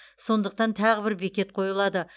сондықтан тағы бір бекет қойылады